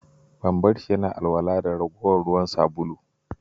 Ban bar shi yana alwala da ragowar ruwan sabulu.